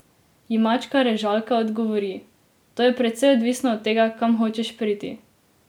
Ji mačka Režalka odgovori: "To je precej odvisno od tega, kam hočeš priti.